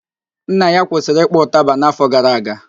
Nna ya kwụsịrị ịkpọ ụtaba n'afọ gara aga